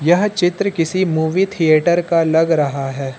यह चित्र किसी मूवी थिएटर का लग रहा है।